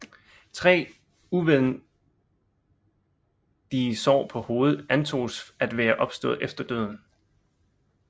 Tre udvendige sår på hovedet antoges at være opstået efter døden